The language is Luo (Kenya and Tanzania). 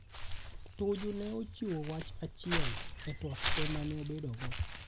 Tuju ne ochiwo wach achiel e twak tee mane obedo go.